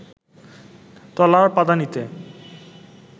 তলার পাদানিতে